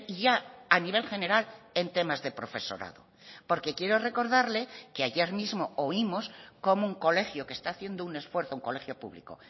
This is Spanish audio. ya a nivel general en temas de profesorado porque quiero recordarle que ayer mismo oímos cómo un colegio que está haciendo un esfuerzo un colegio público